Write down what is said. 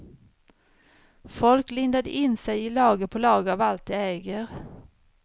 Folk lindade in sig i lager på lager av allt de äger.